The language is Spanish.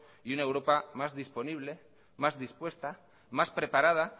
y una europa más disponible más dispuesta más preparada